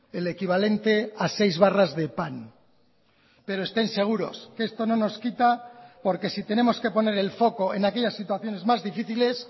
el equivalente a seis barras de pan pero estén seguros que esto no nos quita porque si tenemos que poner el foco en aquellas situaciones más difíciles